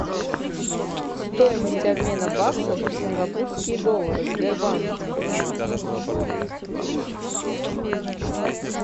стоимость обмена баксов в сингапурские доллары в сбербанке